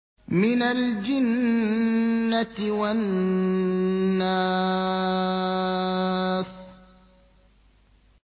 مِنَ الْجِنَّةِ وَالنَّاسِ